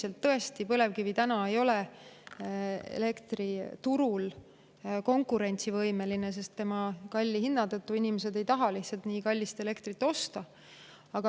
Ega tõesti, üldiselt ei ole põlevkivi täna elektriturul konkurentsivõimeline selle kalli hinna tõttu, sest inimesed ei taha lihtsalt nii kallist elektrit osta.